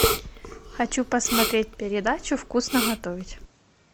хочу посмотреть передачу вкусно готовить